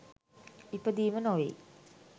ඉපදීම නොවෙයි.